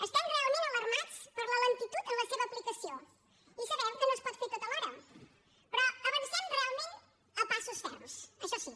estem realment alarmats per la lentitud en la seva aplicació i sabem que no es pot fer tot alhora però avancem realment a passos ferms això sí